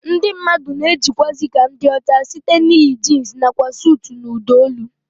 Ndị mmadụ na-ejikwazi ka ndị ọcha site n'iyi jins nakwa suut na ụdọ olu